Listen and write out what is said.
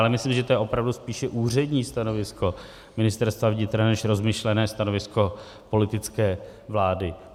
Ale myslím, že to je opravdu spíše úřední stanovisko Ministerstva vnitra než rozmyšlené stanovisko politické vlády.